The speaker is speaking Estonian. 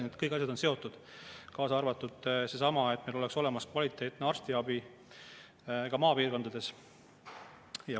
Nii et kõik asjad on üksteisega seotud, kaasa arvatud see, et peaks olema kvaliteetne arstiabi maapiirkondades.